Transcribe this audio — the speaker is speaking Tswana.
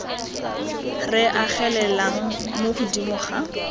re agelelang mo godimo ga